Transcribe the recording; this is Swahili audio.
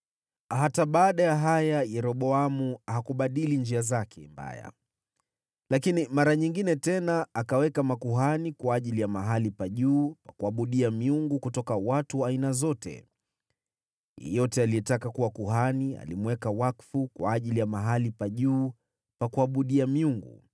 Hata baada ya haya, Yeroboamu hakubadili njia zake mbaya, lakini mara nyingine tena akaweka makuhani kwa ajili ya mahali pa juu pa kuabudia miungu kutoka watu wa aina zote. Yeyote aliyetaka kuwa kuhani alimweka wakfu kwa ajili ya mahali pa juu pa kuabudia miungu.